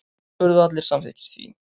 Urðu allir samþykkir því.